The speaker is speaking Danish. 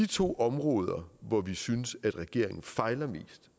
to områder hvor vi synes regeringen fejler